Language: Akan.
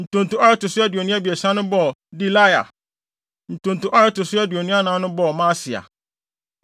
Ntonto a ɛto so aduonu abiɛsa no bɔɔ Delaia. Ntonto a ɛto so aduonu anan no bɔɔ Maasia.